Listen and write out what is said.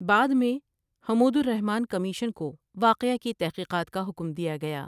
بعد میں حمودالرحمن کمیشن کو واقعہ کی تحقیقات کا حکم دیا گیا ۔